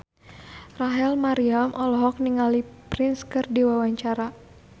Rachel Maryam olohok ningali Prince keur diwawancara